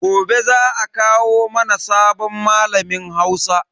Gobe za a kawo mana sabon malamin Hausa.